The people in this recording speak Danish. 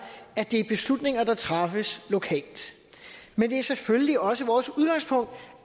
at det er beslutninger der træffes lokalt men det er selvfølgelig også vores udgangspunkt